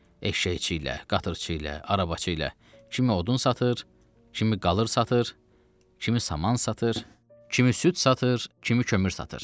Eşşəkçi ilə, qatırçı ilə, arabaçı ilə, kimi odun satır, kimi qılır satır, kimi saman satır, kimi süd satır, kimi kömür satır.